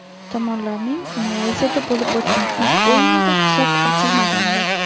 Tomonlarning Malayziyada bo‘lib o‘tgan ilk o‘yinida hisob ochilmagandi.